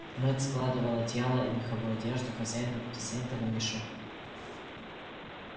мэтт складывал одеяла и меховую одежду хозяина в брезентовый мешок